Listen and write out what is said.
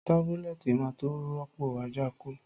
Tábúlètí má tó ròpó àjákõ